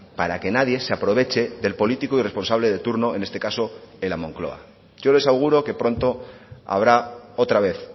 para que nadie se aproveche del político y responsable de turno en este caso en la moncloa yo les auguro que pronto habrá otra vez